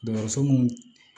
Dɔgɔtɔrɔso mun